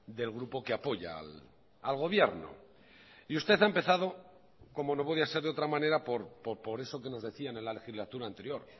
del grupo que apoya al gobierno y usted ha empezado como no podía ser de otra manera por eso que nos decían en la legislatura anterior